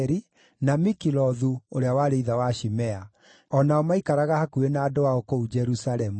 na Mikilothu ũrĩa warĩ ithe wa Shimea. O nao maaikaraga hakuhĩ na andũ ao kũu Jerusalemu.